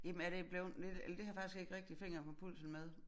Jamen er det bleven eller det har jeg faktisk ikke rigtig fingeren på pulsen med